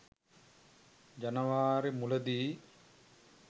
ජනවාරි මුලදී